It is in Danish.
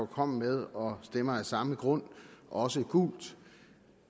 kom med og stemmer af samme grund også gult